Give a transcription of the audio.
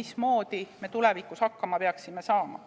mismoodi me tulevikus hakkama peaksime saama.